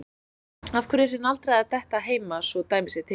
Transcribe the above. Af hverju er hinn aldraði að detta heima svo dæmi sé tekið?